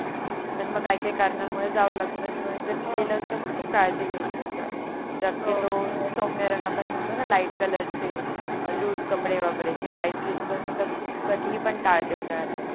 पण मग काय काय कारणांमुळे जावं लागतं त्याच्यामुळे जर गेलच तर खूप काळजी घ्याची असतात हो शक्यतो सोमय आपण म्हणतो णा लाइट कलरचे लुस कपडे वापराचे टाइट जीन्स तर मी तर कधी पण ताडते उनाड्यात